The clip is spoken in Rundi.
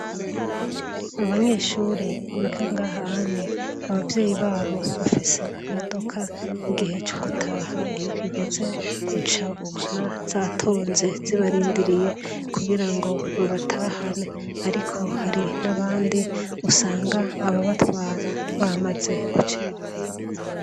abanyeshuri biga ngahanye ababyeyi babo bafise imodoka igihe cyo gutaha iyo kigeze uca ubona zatonze zibarindiriye kugira ngo babatahane ariko hari n'abandi usanga aba batwara bamaze gucererwa